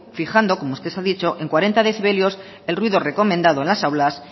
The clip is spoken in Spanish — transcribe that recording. fijando como usted ha dicho en cuarenta decibelios el ruido recomendado en las aulas